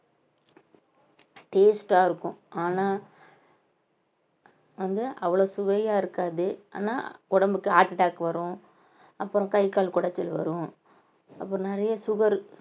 taste ஆ இருக்கும் ஆனா வந்து அவ்வளவு சுவையா இருக்காது ஆனா உடம்புக்கு heart attack வரும் அப்புறம் கை கால் குடைச்சல் வரும் அப்புறம் நிறைய சுகர்